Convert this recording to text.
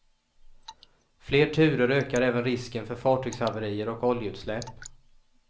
Fler turer ökar även risken för fartygshaverier och oljeutsläpp.